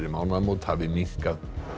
mánaðmót hafi minnkað